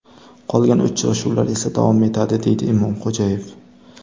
Qolgan uchrashuvlar esa davom etadi”, deydi Imomxo‘jayev.